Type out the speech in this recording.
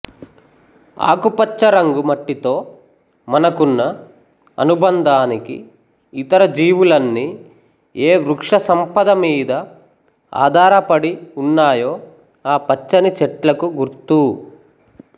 ఆకుపచ్చరంగు మట్టితో మనకున్న అనుబంధానికి ఇతరజీవులన్నీ ఏ వృక్షసంపదమీద ఆధారపడి ఉన్నాయో ఆ పచ్చని చెట్లకు గుర్తు